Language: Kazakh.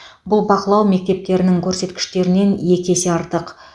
бұл бақылау мектептерінің көрсеткіштерінен екі есе артық